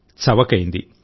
చవకైంది